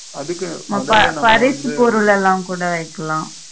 அதுக்கு பரிசு பொருளெல்லாம் கூட வெக்கலாம்